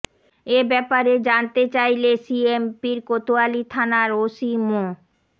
এ ব্যাপারে জানতে চাইলে সিএমপির কোতোয়ালী থানার ওসি মো